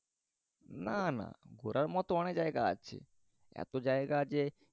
না না ঘোরার মতন অনেক জায়গা আছে এত জায়গা যে